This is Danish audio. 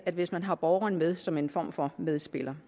hvis man har borgeren med som en form for medspiller